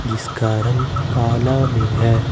जिसका रंग कला में है।